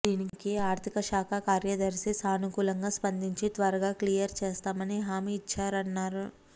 దీనికి ఆర్థిక శాఖ కార్యదర్శి సానుకూలంగా స్పందించి త్వరగా క్లియర్ చేస్తామని హామీ ఇచ్చారన్నారు